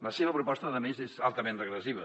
la seva proposta a més és altament regressiva